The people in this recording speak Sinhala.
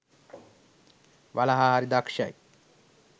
වලහා හරි දක්‍ෂයි.